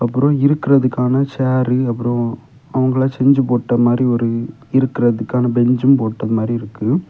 ஒரு இருக்கிறதுக்கான சேரு அப்பறம் அவங்கெல்லாம் செஞ்சு போட்ட மாரி ஒரு இருக்குறதுக்கான பென்சும் போட்ட மாரி இருக்கு.